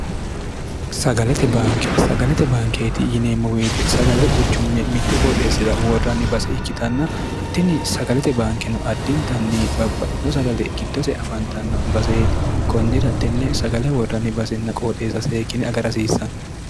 nsagalete bankeeti yineemmo boyete sagale quchumme mittu qooxeessira woorranni base ikkitanna tini sagalete baankeno addintanni babbaxxitino sagale giddose afantanno baseeti konnira tenne sagale worranni basenna qooxeessa seekkine agarhasiissann